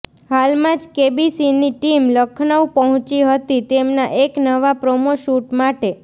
હાલમાં જ કેબીસીની ટીમ લખનઉ પહોંચી હતી તેમનાં એક નવાં પ્રોમો શૂટ માટે